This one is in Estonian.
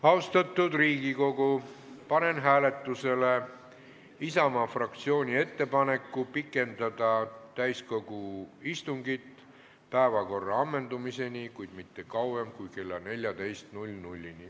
Austatud Riigikogu, panen hääletusele Isamaa fraktsiooni ettepaneku pikendada täiskogu istungit päevakorra ammendumiseni, kuid mitte kauem kui kella 14-ni.